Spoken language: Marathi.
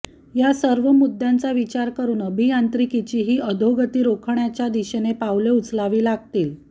या सर्व मुद्दांचा विचार करून अभियांत्रिकीची ही अधोगती रोखण्याच्या दिशेने पावले उचलावी लागतील